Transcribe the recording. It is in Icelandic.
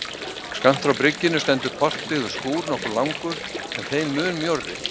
Skammt frá bryggjunni stendur portbyggður skúr nokkuð langur, en þeim mun mjórri.